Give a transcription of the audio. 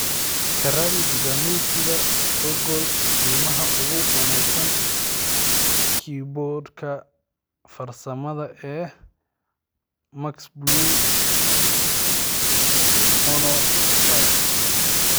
ka raadi dukaamaysiga google qiimaha ugu wanaagsan kiiboodhka farsamada ee mxblue monoprice